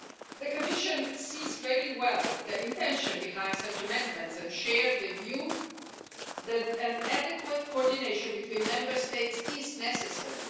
The Commission sees very well the intention behind such amendments and shares the view that an adequate coordination between Member States is necessary.